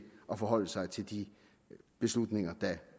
at forholde sig til de beslutninger der